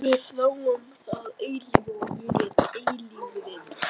Við þráum það eilífa og ég er eilífðin.